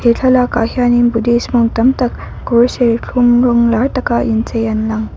he thlalak ah hian in buddhist monk tam tak kawr serthlum rawng lar taka inchei an lang.